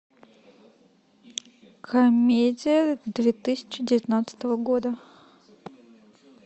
комедия две тысячи девятнадцатого года